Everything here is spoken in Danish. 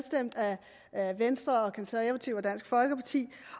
af venstre konservative og dansk folkeparti